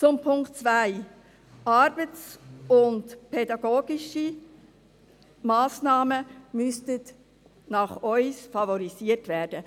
Zum Punkt 2: Arbeits- und pädagogische Massnahmen müssten laut uns favorisiert werden.